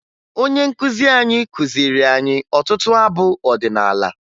Onye nkụzi anyị kụziri anyị ọtụtụ abụ ọdịnaala